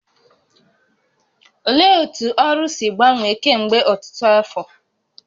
Olee otú Oru si gbanwee kemgbe ọtụtụ afọ?